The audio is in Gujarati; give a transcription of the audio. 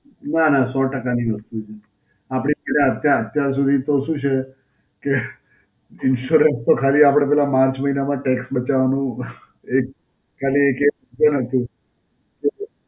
નાં નાં, સૌ ટકાની વસ્તુ છે. આપડે બધાં અત્યાર અત્યાર સુધી તો શું છે કે insurance તો ખાલી આપડે પેલા માર્ચ મહિના માં tax બચાવવાનું એક ખાલી એક એ હતું.